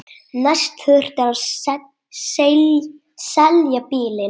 Næst þurfti að selja bílinn.